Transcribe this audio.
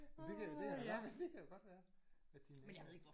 Jamen det kan da det kan da godt være det kan jo godt være at de er naboer